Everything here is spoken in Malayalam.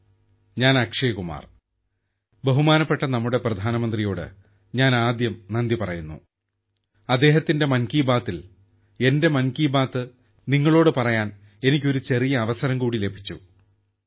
ഹലോ ഞാൻ അക്ഷയ് കുമാർ ബഹുമാനപ്പെട്ട നമ്മുടെ പ്രധാനമന്ത്രിയോട് ഞാൻ ആദ്യം നന്ദി പറയുന്നു അദ്ദേഹത്തിന്റെ മൻ കി ബാത്തിൽ എന്റെ മൻ കി ബാത്ത് നിങ്ങളോട് പറയാൻ എനിക്ക് ഒരു ചെറിയ അവസരം കൂടി ലഭിച്ചു